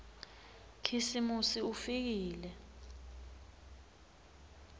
khisimusi ufikile